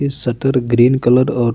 इस shutter shutter green colour और --